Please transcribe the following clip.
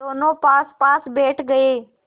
दोेनों पासपास बैठ गए